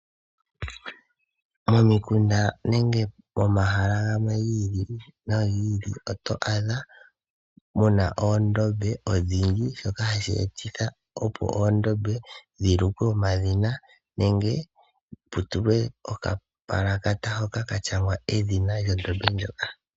Momikunda nenge momahala gamwe gi ili nogi ili oto adha muna oondombe odhindji dhoka hashi etitha opo oondombe dhi lukwe omadhina nenge putulwe oka palakata hoka ka shangwa edhina lyondombe ndjoka.